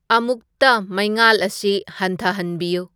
ꯑꯃꯨꯛꯇ ꯃꯩꯉꯥꯜ ꯑꯁꯤ ꯍꯟꯊꯍꯟꯕꯤꯌꯨ